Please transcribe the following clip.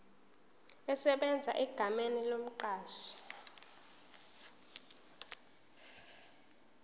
esebenza egameni lomqashi